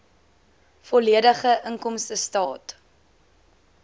volledige inkomstestaat